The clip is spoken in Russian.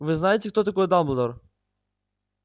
вы знаете кто такой дамблдор